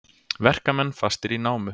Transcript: Verkamenn fastir í námu